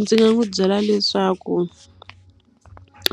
Ndzi nga n'wi byela leswaku